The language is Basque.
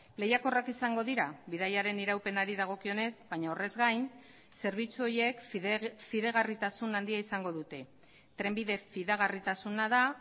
lehiakorrak izango dira bidaiaren iraupenari dagokionez baina horrez gain zerbitzu horiek fidagarritasun handia izango dute trenbide fidagarritasuna da